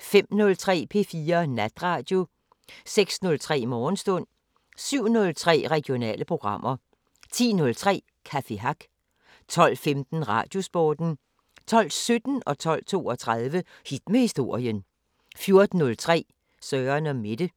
05:03: P4 Natradio 06:03: Morgenstund 07:03: Regionale programmer 10:03: Café Hack 12:15: Radiosporten 12:17: Hit med historien 12:32: Hit med historien 14:03: Søren & Mette